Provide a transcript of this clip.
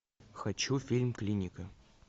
хочу фильм клиника